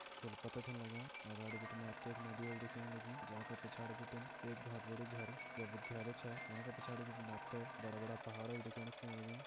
फूल पत्ता छन लग्यां अगाड़ि बटिन आपते एक नदी ओल दिखेण लगीं जाका पिछाड़ि बटिन एक बोहोत बड़ु घर या विद्यालय छा। वहां का पिछाड़ि बटिन आपते बड़ा बड़ा पहाड़ ओल दिखेण लग्यां।